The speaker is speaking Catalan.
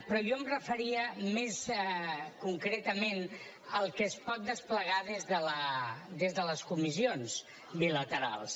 però jo em referia més concretament al que es pot desplegar des de les comissions bilaterals